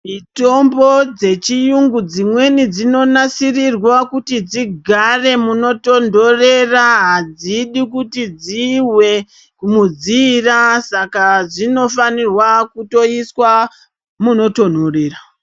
Mitombo dzechiyungu dzimweni dzinonasirirwa kuti dzigare munotonhorera hadzifaniri kuti dzizwe mudziirwa saka dzinofanira kuiswa munotonhorera.